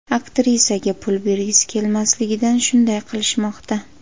Aktrisaga pul bergisi kelmasligidan shunday qilishmoqda.